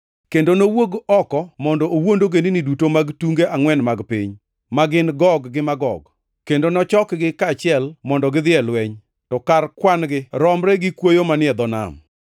kendo nowuog oko mondo owuond ogendini duto mag tunge angʼwen mag piny, ma gin Gog gi Magog, kendo nochokgi kaachiel mondo gidhi e lweny. To kar kwan-gi romre gi kwoyo manie dho nam.